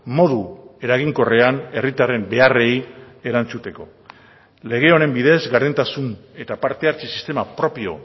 modu eraginkorrean herritarren beharrei erantzuteko lege honen bidez gardentasun eta parte hartze sistema propio